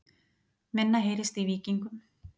Minna heyrist í Víkingum